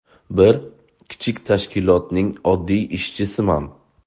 Bir kichik tashkilotning oddiy ishchisiman.